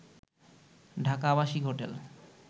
ঢাকা আবাসিক হোটেল